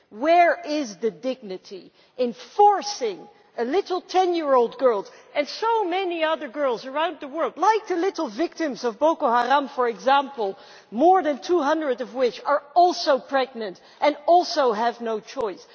Where is the dignity in forcing a little 10 year old girl and so many other girls around the world like the little victims of Boko Haram for example, more than 200 of which are also pregnant and also have no choice?